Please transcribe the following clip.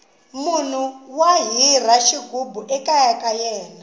munhu wa hira xighubu ekaya ka yena